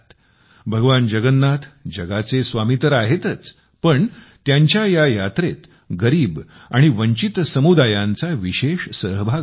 भगवान जगन्नाथ जगाचे स्वामी तर आहेतच पण त्यांच्या या यात्रेत गरीब आणि वंचित समुदायांचा विशेष सहभाग असतो